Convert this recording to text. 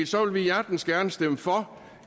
så vil vi hjertens gerne stemme for